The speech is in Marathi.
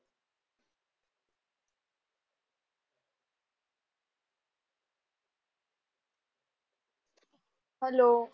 हॅलो.